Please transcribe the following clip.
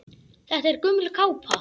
Þetta er gömul kápa.